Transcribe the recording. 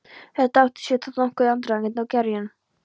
Þetta átti sér þó nokkurn aðdraganda og gerjun.